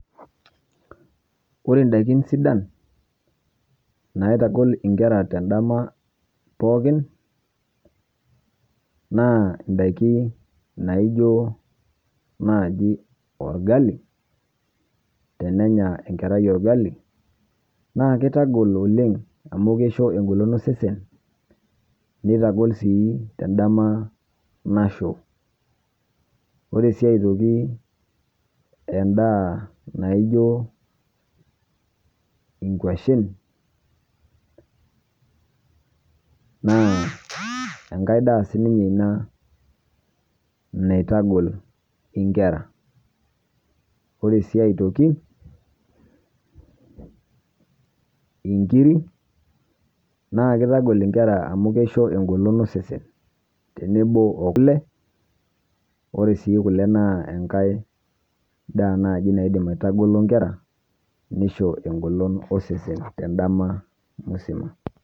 Ore ndaakin sidaan naitagool nkerra te ndaama pookin naa ndaakin naijoo najii olgali. Tenenyaa enkerrai olgali naa keitagool oleng amu keishoo enkolong e sesen. Neitagol sii te ndaama naishoo. Ore sii aitoki endaa naijoo enkuashen naa enkai ndaa sii ninye ena naitagol enkerra. Ore sii aitoki eng'irii naa keitagol nkerra amu keishoo enkolong e sesen teneboo o kulee. Ore si kulee naa enkai ndaa naijii naidiim aitagolo nkerra neishoo enkolong o sesen te ndaama musimaa.